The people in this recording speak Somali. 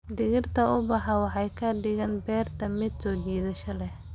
Dhirta ubaxa waxay ka dhigaan beerta mid soo jiidasho leh.